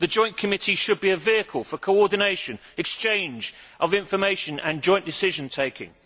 The joint committee should be a vehicle for coordination, exchange of information and joint decision taking.